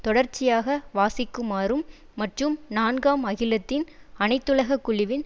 தொடர்ச்சியாக வாசிக்குமாறும் மற்றும் நான்காம் அகிலத்தின் அனைத்துலக குழுவின்